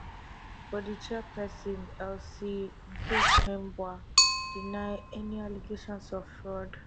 but di chairperson elsie nghikembua deny any allegations of fraud